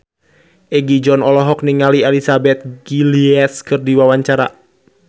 Egi John olohok ningali Elizabeth Gillies keur diwawancara